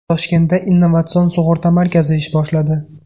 Toshkentda Innovatsion sug‘urta markazi ish boshladi.